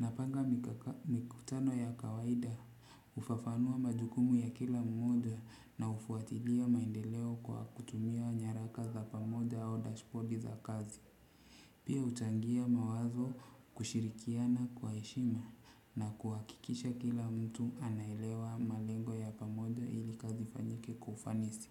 Napenda mikutano ya kawaida. Hufafanua majukumu ya kila mmoja na hufuatilia maendeleo kwa kutumia nyaraka za pamoja au dashboard za kazi. Pia utaingia mawazo kushirikiana kwa heshima na kuhakikisha kila mtu anaelewa malengo ya pamoja ili kazi ifanyike kwa ufanisi.